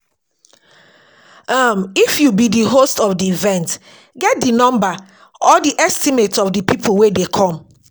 um if you be di host of the event get the number or the estimate of di people wey dey come